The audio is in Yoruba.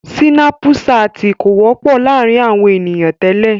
Sínàpù saàtì kò wọ́pọ̀ láàrin àwọn ènìyàn tẹ́lẹ̀.